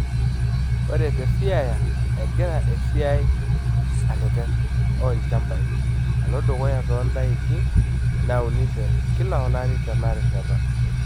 Ore te Siaya egira esiai erreten oo ilchambai alo dukuya too ndaiki nauni te kila olari tena rishata.